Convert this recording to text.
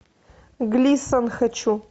глисон хочу